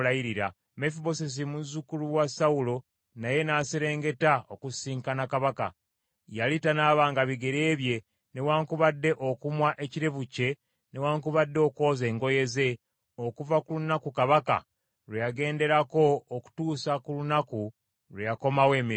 Mefibosesi muzzukulu wa Sawulo naye n’aserengeta okusisinkana kabaka; yali tanaabanga bigere bye newaakubadde okumwa ekirevu kye newaakubadde okwoza engoye ze, okuva ku lunaku kabaka lwe yagenderako okutuusa ku lunaku lwe yakomawo emirembe.